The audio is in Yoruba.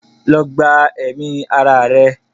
go and commit suicide!